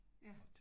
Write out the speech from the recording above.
Ja